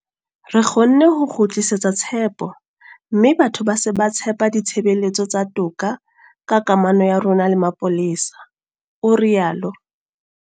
Re kgonne ho kgutlisetsa tshepo mme batho ba se ba tshepa ditshebeletso tsa toka ka kamano ya rona le mapolesa, o rialo.